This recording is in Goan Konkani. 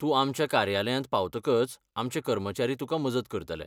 तूं आमच्या कार्यालयांत पावतकच आमचे कर्मचारी तुकां मजत करतले.